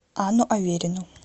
анну аверину